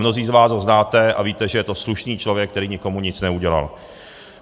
Mnozí z vás ho znáte a víte, že je to slušný člověk, který nikomu nic neudělal.